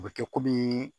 O bɛ kɛ komi